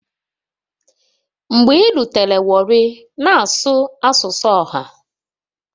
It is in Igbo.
Mgbe irutere warri na-asụ asụsụ ọha.